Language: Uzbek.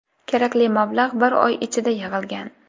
Kerakli mablag‘ bir oy ichida yig‘ilgan.